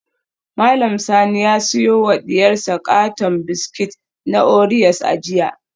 Mallam Sani ya siyo wa diyarsa katon biskit na oreos a jiya